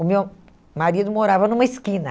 O meu marido morava numa esquina.